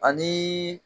Ani